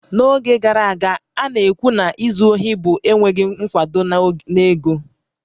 N'oge gara aga, a na-ekwu na izu ohi bụ enweghị nkwado na ego